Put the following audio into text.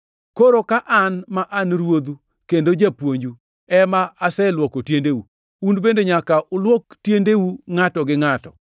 Koro ka an ma an Ruodhu kendo Japuonju ema aselwoko tiendeu, un bende nyaka ulwok tiendeu ngʼato gi ngʼato.